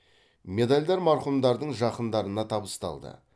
медальдар марқұмдардың жақындарына табысталды